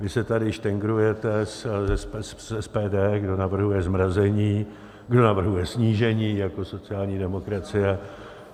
Vy se tady štengrujete s SPD, kdo navrhuje zmrazení, kdo navrhuje snížení jako sociální demokracie.